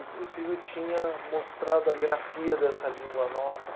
Inclusive, eu tinha mostrado a grafia dessa língua nova.